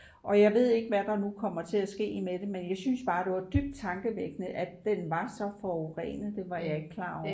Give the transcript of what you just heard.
og jeg ved ikke hvad der nu kommer til at ske med det men jeg synes bare det var dybt tankevækkende at den var så forurenet det var jeg ikke klar over